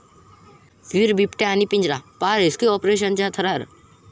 विहीर, बिबट्या आणि पिंजरा...पाहा रेस्क्यू ऑपरेशनचा थरार